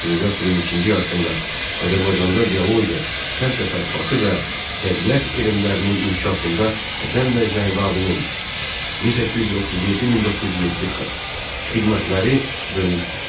19-cu əsrin ikinci yarısında Azərbaycanda biologiya, kənd təsərrüfatı və təbiət elmlərinin inkişafında Həsən bəy Zərdabinin (1837-1907) xidmətləri böyükdür.